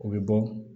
O bɛ bɔ